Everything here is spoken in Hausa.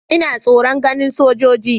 Ina tsoron ganin sojoji.